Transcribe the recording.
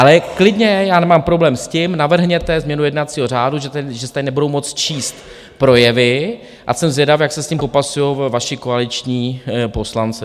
Ale klidně, já nemám problém s tím - navrhněte změnu jednacího řádu, že se tady nebudou moct číst projevy, a jsem zvědav, jak se s tím popasují vaši koaliční poslanci.